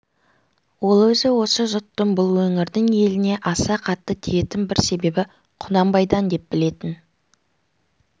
ол өзі осы жұттың бұл өңірдің еліне аса қатты тиетін бір себебі құнанбайдан деп білетін